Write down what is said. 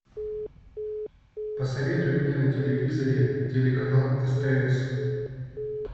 посоветуй мне на телевизоре телеканал стс